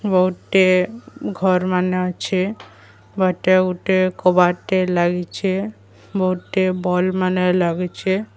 ଗୋଟିଏ ଘର୍ ମାନେ ଅଛେ ବାଟେ ଗୁଟେ କବାଟ ଟେ ଲାଗିଛେ ବହୁଟେ ବଲ୍ ମାନେ ଲାଗିଚେ।